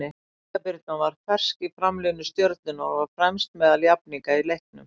Inga Birna var mjög fersk í framlínu Stjörnunnar og var fremst meðal jafningja í leiknum.